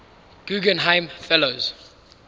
guggenheim fellows